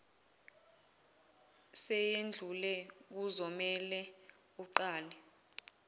seyedlule kuzomele uqale